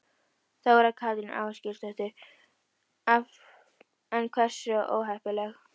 Þóra Kristín Ásgeirsdóttir: En hversu óheppileg?